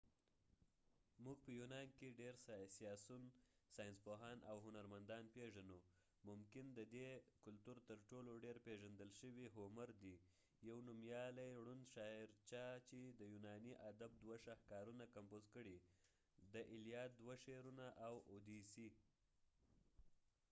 موږ په یونان کې ډیر سیاسیون ، ساینسپوهان او هنرمندان پیژنو .ممکن ددې کلتور تر ټولو ډیر پیژندل شوي هومر homer دي . یو نومیالی ړوند شاعرچا چې د یونانی ادب دوه شاهکارونه کمپوز کړي : د الیاد elliad او اوديسی odyssey دوه شعرونه